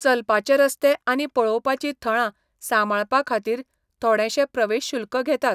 चलपाचे रस्ते आनी पळोवपाचीं थळां सांबाळपाखातीर थोडेंशें प्रवेश शुल्क घेतात.